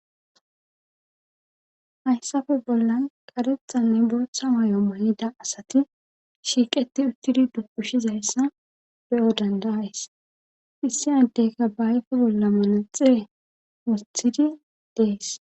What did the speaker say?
hayssafe bollan karethanne booththa may7o malida asati shiiqeti uttidi duqushizayssa beyo dandayays issi addeyka ba ayfe bolla manaxie wosthidi dees